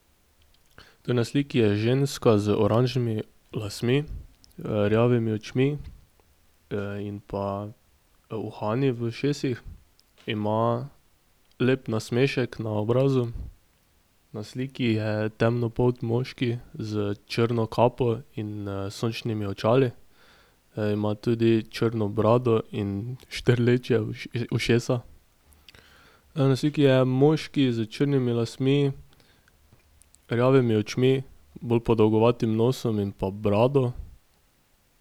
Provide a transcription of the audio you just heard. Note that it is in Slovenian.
To na sliki je ženska z oranžnimi lasmi, rjavimi očmi, in pa uhani v ušesih. Ima lep nasmešek na obrazu. Na sliki je temnopolt moški s črno kapo in, sončnimi očali. ima tudi črno brado in štrleča ušesa. na sliki je moški s črnimi lasmi, rjavimi očmi, bolj podolgovatim nosom in pa brado.